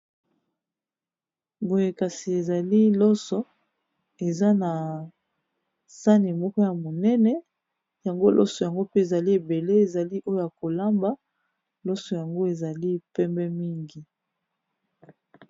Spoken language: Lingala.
Boye kasi ezali loso eza na sani moko ya monene yango loso yango pe ezali ebele ezali oyo ya kolamba loso yango ezali pembe mingi.